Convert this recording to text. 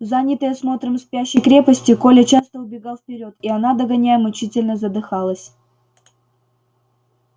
занятый осмотром спящей крепости коля часто убегал вперёд и она догоняя мучительно задыхалась